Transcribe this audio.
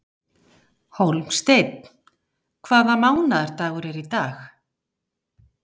Hólmsteinn, hvaða mánaðardagur er í dag?